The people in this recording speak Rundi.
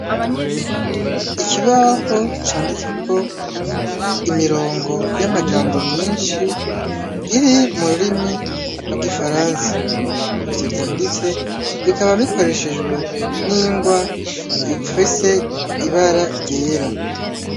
Ikibaho canditseko imirongo y'amajambo myinshi iri mu rurimi rw'igifaransa. Ivyo vyanditse bikaba bikoreshejwe n'ingwa ifise ibara ryera.